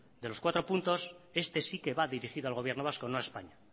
de estos cuatros puntos este sí que va dirigido al gobierno vasco y no a españa